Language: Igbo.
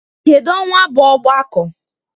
Kedu ọnwa bụ ogbako?